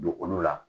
Don olu la